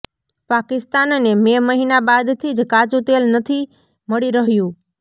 પાકિસ્તાનને મે મહિના બાદથી જ કાચુ તેલ નથી મળી રહ્યું